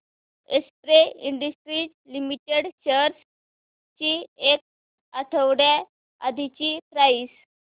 Excel Industries Limited shares ची एक आठवड्या आधीची प्राइस